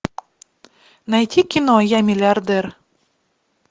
найти кино я миллиардер